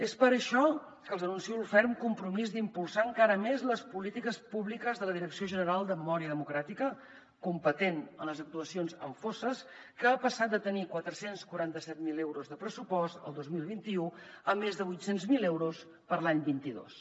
és per això que els anuncio el ferm compromís d’impulsar encara més les polítiques públiques de la direcció general de memòria democràtica competent amb les actuacions en fosses que ha passat de tenir quatre cents i quaranta set mil euros de pressupost el dos mil vint u a més de vuit cents miler euros per a l’any vint dos